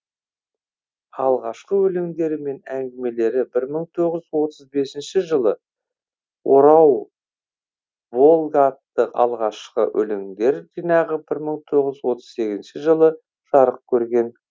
алғашқы өлеңдері мен әңгімелері бір мың тоғыз жүз отыз бесінші жылы орау волга атты алғашқы өлеңдер жинағы бір мың тоғыз жүз отыз сегізінші жылы жарық көрген